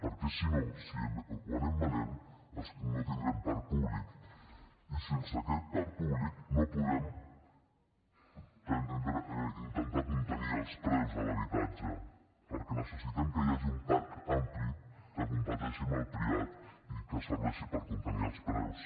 perquè si no si ho anem venent no tindrem parc públic i sense aquest parc públic no podem intentar contenir els preus de l’habitatge perquè necessitem que hi hagi un parc ampli que competeixi amb el privat i que serveixi per contenir els preus